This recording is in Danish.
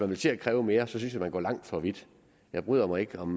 vil til at kræve mere synes jeg at man går langt for vidt jeg bryder mig ikke om